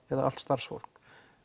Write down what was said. eða allt starfsfólk